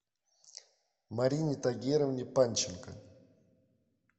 марине тагировне панченко